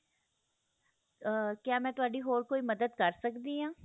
ਅਹ ਕਿਆ ਮੈ ਤੁਹਾਡੀ ਹੋਰ ਕੋਈ ਮਦਦ ਕਰ ਸਕਦੀ ਹਾਂ